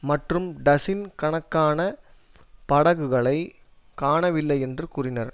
மற்றும் டசின் கணக்கான படகுகளை காணவில்லையென்று கூறினர்